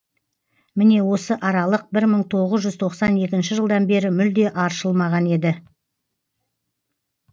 міне осы аралық бір мың тоғыз жүз тоқсан екінші жылдан бері мүлде аршылмаған еді